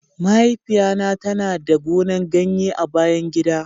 mahaifiya na ta na da gonan ganye a bayan gida.